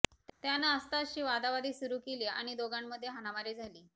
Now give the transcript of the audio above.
त्यानं आस्तादशी वादावादी सुरु केली आणि दोघांमध्ये हाणामारी झाली